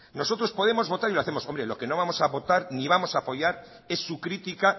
nosotros podemos votar y lo hacemos lo que no vamos a votar ni vamos a apoyar es su critica